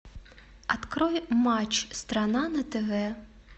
открой матч страна на тв